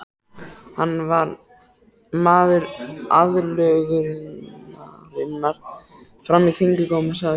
Hann var maður aðlögunarinnar fram í fingurgóma, sagði